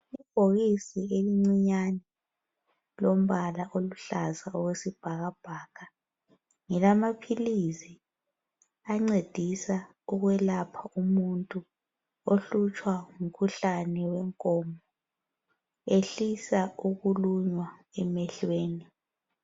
Ibhokisi elincinyane lilombala oluhlaza okwesibhakabhaka ngelamaphilisi ancedisa ukwelapha umuntu ohlutshwa ngumkhuhlane wenkomo ehlisa ukulunywa emehlweni